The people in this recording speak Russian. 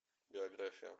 биография